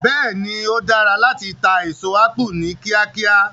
Bẹ́ẹ̀ ni, ó dára láti ta èso ápù ní kíákíá.